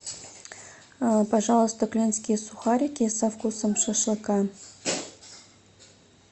пожалуйста клинские сухарики со вкусом шашлыка